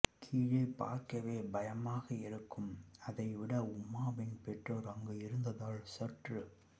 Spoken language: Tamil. கீழே பார்க்கவே பயமாக இருக்கும் அதை விட உமாவின் பெற்றோர் அங்கு இருந்ததால் சற்று